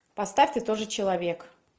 поставь ты тоже человек